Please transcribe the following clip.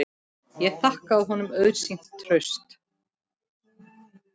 Ég þakkaði honum auðsýnt traust.